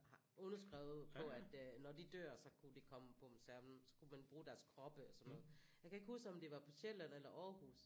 Har underskrevet på at når de dør så kunne de komme på museum så kunne man bruge deres kroppe og sådan noget jeg kan ikke huske om det var på Sjælland eller Aarhus